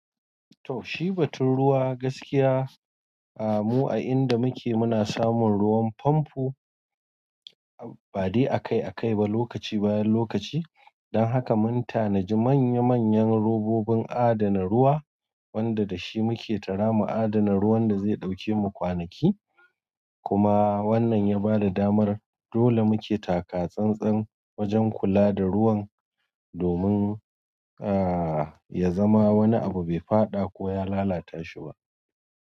Toshi batun ruwa gaskiya, ahh mu a inda muke muna samun ruwan pamfo ba dai akai akai ba lokaci bayan lokaci. Dan haka mun tanaji manya manyan robobin adana ruwa wanda dashi muke tara mu adana ruwan da zai dauke mu kwanaki. Kuma wannan ya bada damar dole muke takatsantsan wajen kula da ruwan, domin ahh ya zama wani abu bai faɗa ko ya lalata shi ba.